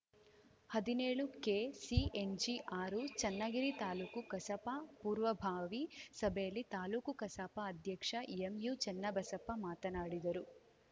ಹದಿನೇಳುಕೆಸಿಎನ್ಜಿಆರು ಚೆನ್ನಗಿರಿ ತಾಲೂಕು ಕಸಾಪ ಪೂರ್ವಬಾವಿ ಸಭೆಯಲ್ಲಿ ತಾಲೂಕು ಕಸಾಪ ಅಧ್ಯಕ್ಷ ಎಂಯುಚೆನ್ನಬಸಪ್ಪ ಮಾತನಾಡಿದರು